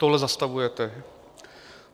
Tohle zastavujete.